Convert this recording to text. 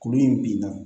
Kuru in bin na